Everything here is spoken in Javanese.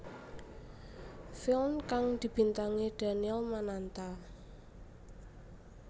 Filn kang dibintangi Daniel Mananta